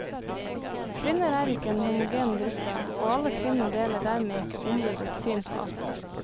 Kvinner er ikke en homogen gruppe, og alle kvinner deler dermed ikke ombudets syn på alt.